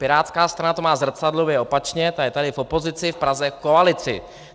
Pirátská strana to má zrcadlově, opačně, ta je tady v opozici, v Praze v koalici.